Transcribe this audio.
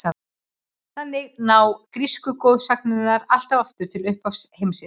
Þannig ná grísku goðsagnirnar allt aftur til upphafs heimsins.